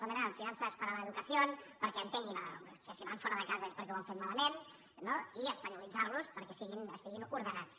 com era finanzas para la educación perquè entenguin que si van fora de casa és perquè ho han fet malament no i espanyolitzar los perquè estiguin ordenats